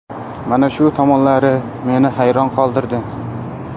Mana shu tomonlari meni hayron qoldirdi.